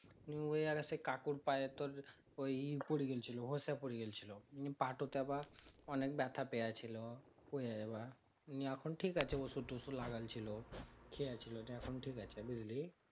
নিয়ে অইয়া সে কাকুর পায়ে তোর ইয়ে পরে গেলছিলো হোসা পরে গেলছিলো নিয়ে পা টোতে আবার অনেক ব্যাথা পেয়েছিলো ওইয়াই আবার নিয়ে এখন ঠিক আছে ওষুধ তসুদ লাগলছিলো খেয়েছিলো নিয়ে এখন ঠিক আছে